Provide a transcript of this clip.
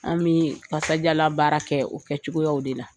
Anw bi kasajalan baara kɛ o kɛ cogoyaw de la